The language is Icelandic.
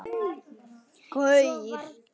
Svo varð sem hann vildi.